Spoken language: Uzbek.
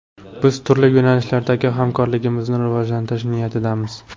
Biz turli yo‘nalishlardagi hamkorligimizni rivojlantirish niyatidamiz”.